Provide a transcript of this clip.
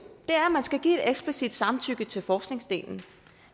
er at man skal give et eksplicit samtykke til forskningsdelen